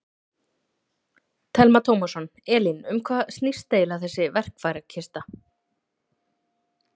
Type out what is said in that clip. Telma Tómasson: Elín, um hvað snýst eiginlega þessi verkfærakista?